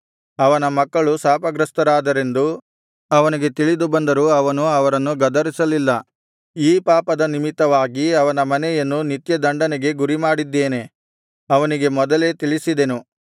ಅವನ ಮಕ್ಕಳು ಶಾಪಗ್ರಸ್ತರಾದರೆಂದು ಅವನಿಗೆ ತಿಳಿದು ಬಂದರೂ ಅವನು ಅವರನ್ನು ಗದರಿಸಲಿಲ್ಲ ಈ ಪಾಪದ ನಿಮಿತ್ತವಾಗಿ ಅವನ ಮನೆಯನ್ನು ನಿತ್ಯದಂಡನೆಗೆ ಗುರಿಮಾಡಿದ್ದೇನೆಂದು ಅವನಿಗೆ ಮೊದಲೇ ತಿಳಿಸಿದೆನು